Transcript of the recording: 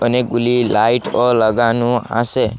অনেকগুলি লাইটও লাগানো আসে।